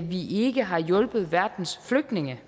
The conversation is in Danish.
vi ikke har hjulpet verdens flygtninge